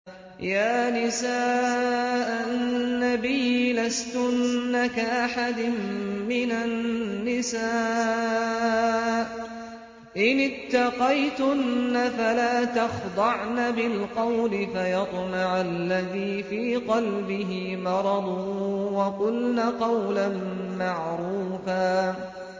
يَا نِسَاءَ النَّبِيِّ لَسْتُنَّ كَأَحَدٍ مِّنَ النِّسَاءِ ۚ إِنِ اتَّقَيْتُنَّ فَلَا تَخْضَعْنَ بِالْقَوْلِ فَيَطْمَعَ الَّذِي فِي قَلْبِهِ مَرَضٌ وَقُلْنَ قَوْلًا مَّعْرُوفًا